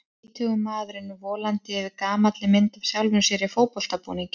Tvítugur maðurinn volandi yfir gamalli mynd af sjálfum sér í fótboltabúningi.